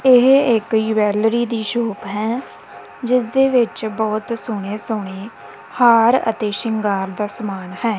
ਇਹ ਇੱਕ ਜਵੈਲਰੀ ਦੀ ਸ਼ੌਪ ਹੈ ਜਿੱਸ ਦੇ ਵਿੱਚ ਬਹੁਤ ਸੋਹਣੇ ਸੋਹਣੇ ਹਾਰ ਅਤੇ ਸ਼ਿੰਗਾਰ ਦਾ ਸਮਾਨ ਹੈ।